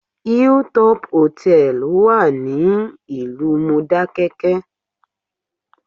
Hill Top Hotel wà ní ìlú Mọdákẹ́kẹ́